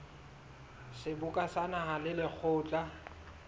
seboka sa naha le lekgotla